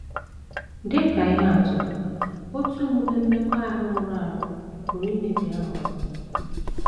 Dị ka ihe atụ, otu omume mmekọahụ rụrụ arụ pụrụ imebi aha ọma.